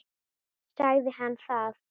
Sagði hann það?